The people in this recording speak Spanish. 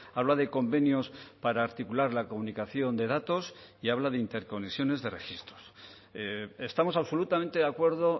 habla de convenios para articular la comunicación de datos y habla de interconexiones de registros estamos absolutamente de acuerdo